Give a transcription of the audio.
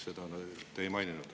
Seda te ei maininud.